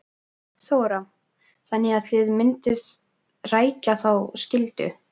Þóra: Þannig að þið mynduð rækja þá skyldu?